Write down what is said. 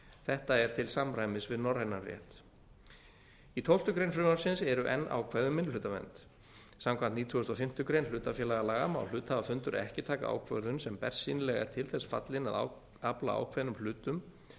þetta er til samræmis við norrænan vef í tólfta fr frumvarpsins eru enn ákvæði um minnihlutavernd samkvæmt nítugasta og fimmtu grein hlutafélagalaga má hluthafafundur ekki taka ákvörðun sem bersýnilega er til þess fallinn að afla ákveðnum hlutum